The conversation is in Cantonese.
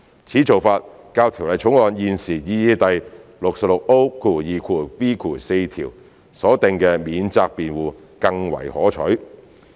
此做法較《條例草案》現時擬議第 66O2b 條所訂的"免責辯護"更為可取。